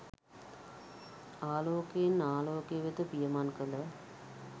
ආලෝකයෙන් ආලෝකය වෙත පියමං කළ